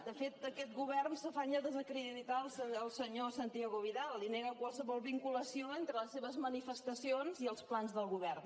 de fet aquest govern s’afanya a desacreditar el senyor santiago vidal i nega qualsevol vinculació entre les seves manifestacions i els plans del govern